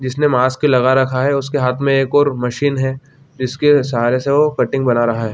जिसने मास्क लगा रखा है उसके हाथ मे और एक मशीन है जिसके सहारे से वो कटिंग बना रहा है।